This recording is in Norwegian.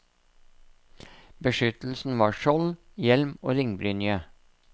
Beskyttelsen var skjold, hjelm og ringbrynje.